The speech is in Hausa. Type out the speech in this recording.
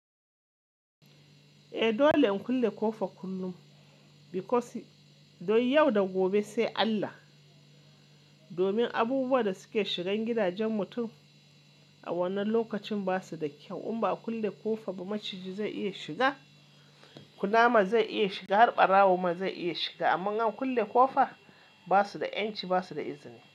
Eh dole in kulle ƙofa kullum because don yau da gobe sai Allah. Domin abubuwa da suke shigan gidajen mutum a wannan lokacin ba su da kyau. In ba a kulle ƙofa ba maciji zai iya shiga, kunama zai iya shiga, har ɓarawo ma zai iya shiga. Amman in an kulle ƙofa, ba su da ƴanci, ba su da izini.